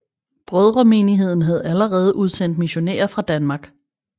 Brødremenigheden havde allerede udsendt missionærer fra Danmark